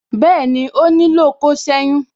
Bẹẹni, ó nílò kó seyun.